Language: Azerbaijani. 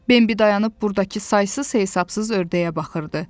Bembi dayanıb burdakı saysız-hesabsız ördəyə baxırdı.